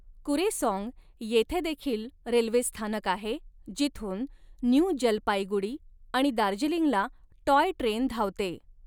कुरेसॉन्ग येथे देखील रेल्वे स्थानक आहे जिथून न्यू जलपाईगुडी आणि दार्जिलिंगला टॉय ट्रेन धावते.